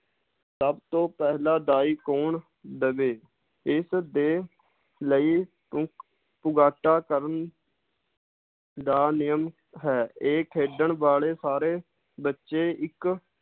ਸਬਤੋਂ ਪਹਿਲਾਂ ਦਾਈ ਕੌਣ ਦਵੇ, ਇਸ ਦੇ ਲਈ ਪੁ~ ਪੁਗਾਟਾ ਕਰਨ ਦਾ ਨਿਯਮ ਹੈ ਇਹ ਖੇਡਣ ਵਾਲੇ ਸਾਰੇ ਬੱਚੇ ਇਕ